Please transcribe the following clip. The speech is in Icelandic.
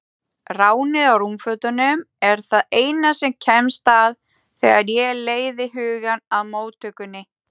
Ránið á rúmfötunum er það eina sem kemst að þegar ég leiði hugann að móttökunni.